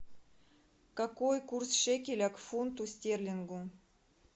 какой курс шекеля к фунту стерлингу